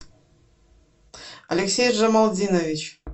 алексей джамалдинович